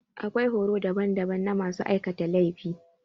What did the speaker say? Akwai horo daban daban na masu aikata laifi.